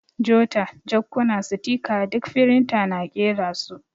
Jota, jakkuna, sitika ɗuk firinta na ƙera su.